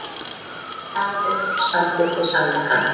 Samiðn samþykkti samningana